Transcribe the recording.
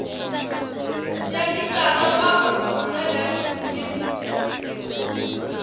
ya mithara wa mudagasi une